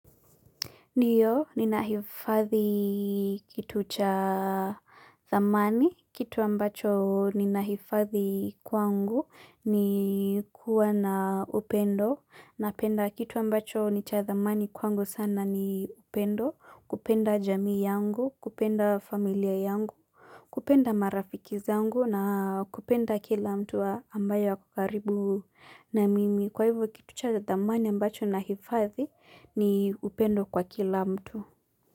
Ndiyo, ninahifathi kitu cha dhamani, kitu ambacho ninahifathi kwangu ni kuwa na upendo, napenda kitu ambacho ni cha dhamani kwangu sana ni upendo, kupenda jamii yangu, kupenda familia yangu, kupenda marafiki zangu na kupenda kila mtu ambaye ako karibu na mimi. Kwa hivyo kitu cha dhamani ambacho nahifadhi ni upendo kwa kila mtu.